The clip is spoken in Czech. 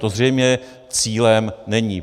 To zřejmě cílem není.